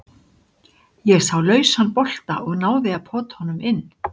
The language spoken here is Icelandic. Ég sá lausan bolta og náði að pota honum inn.